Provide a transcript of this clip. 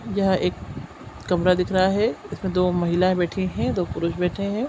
यह एक कमरा दिख रहा है इसमे दो महिला बैठी है दो पुरुष बैठे है।